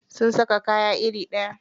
Sun saka kaya iri ɗaya.